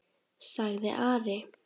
sagði Ari.